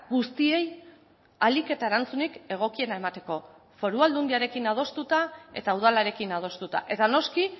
guztiei ahalik eta erantzunik egokiena emateko foru aldundiarekin adostuta eta udalarekin adostuta eta noski